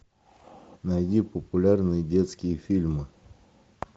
найди популярные детские фильмы